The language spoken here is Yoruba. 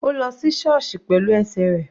Ó lọ sí sọọsi pẹ̀lú ẹsẹ̀ rẹ̀.